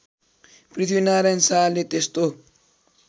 पृथ्वीनारायण शाहले त्यस्तो